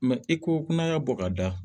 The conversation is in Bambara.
i ko ko n'a y'a bɔ ka da